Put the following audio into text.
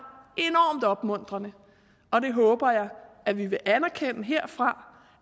enormt opmuntrende og det håber jeg at vi vil anerkende herfra